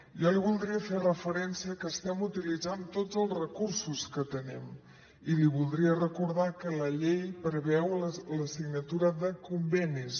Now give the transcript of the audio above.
jo li voldria fer referència que estem utilitzant tots els recursos que tenim i li voldria recordar que la llei preveu la signatura de convenis